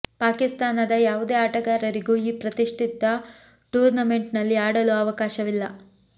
ಪಾಕಿಸ್ತಾನದ ಯಾವುದೇ ಆಟಗಾರರಿಗೂ ಈ ಪ್ರತಿಷ್ಠಿತ ಟೂರ್ನಮೆಂಟ್ ನಲ್ಲಿ ಆಡಲು ಅವಕಾಶವಿಲ್ಲ